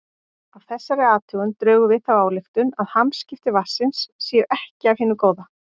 Af þessari athugun drögum við þá ályktun að hamskipti vatnsins séu ekki af hinu góða.